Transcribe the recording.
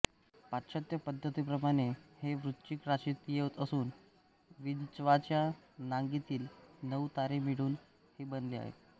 पाश्चात्य पद्धतीप्रमाणे हे वृश्चिक राशीत येत असून विंचवाच्या नांगीतील नऊ तारे मिळून हे बनले आहे